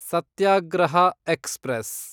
ಸತ್ಯಾಗ್ರಹ express